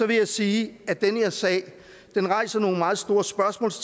vil jeg sige at den her sag rejser nogle meget store spørgsmål